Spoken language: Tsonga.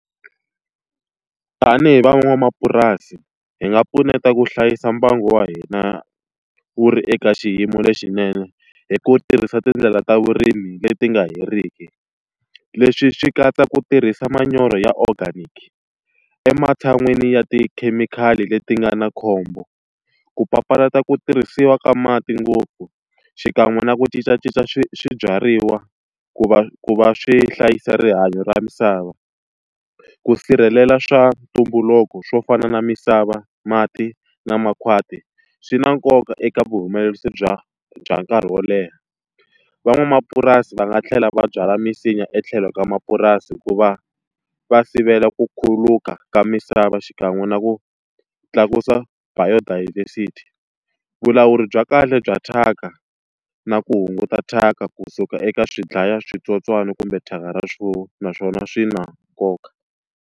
Tanihi van'wamapurasi hi nga pfuneta ku hlayisa mbangu wa hina wu ri eka xiyimo lexinene, hi ku tirhisa tindlela ta vurimi leti nga heriki. Leswi swi katsa ku tirhisa manyoro ya organic, ematshan'wini ya tikhemikhali leti nga na khombo. Ku papalata ku tirhisiwa ka mati ngopfu, xikan'we na ku cincacinca swibyariwa ku va ku va swi hlayisa rihanyo ra misava, ku sirhelela swa ntumbuluko swo fana na misava, mati na makhwati swi na nkoka eka vuhumelerisi bya bya nkarhi wo leha Van'wamapurasi va nga tlhela va byala misinya etlhelo ka mapurasi ku va va sivela ku khuluka ka misava xikan'we na ku tlakusa bio diversity. Vulawuri bya kahle bya thyaka na ku hunguta thyaka kusuka eka swidlayaswitsotswana kumbe thyaka ra swona naswona swi na nkoka.